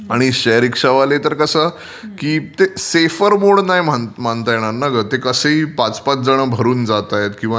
आणि share rickshaw वाले तर कसं ते सेफर मोड नाही म्हणता येणार तर ते कसंही पाच पाच जणं भरून जातायत किंवा हे...